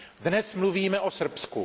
Dnes mluvíme o Srbsku.